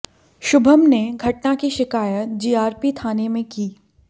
शुभम ने घटना की शिकायत जीआरपी थाने में की